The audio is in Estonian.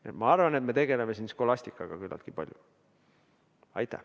Nii et ma arvan, et me tegeleme siin skolastikaga küllaltki palju.